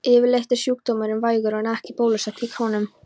Yfirleitt er sjúkdómurinn vægur og ekki er bólusett gegn honum.